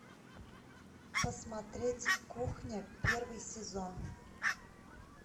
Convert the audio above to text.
посмотреть кухня первый сезон